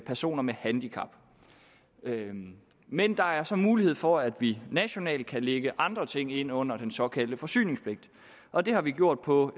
personer med handicap men der er så mulighed for at vi nationalt kan lægge andre ting ind under den såkaldte forsyningspligt og det har vi gjort på